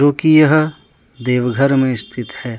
जो कि यह देवघर में स्थित है।